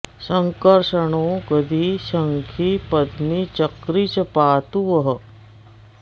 सङ्कर्षणो गदी शङ्खी पद्मी चक्री च पातु वः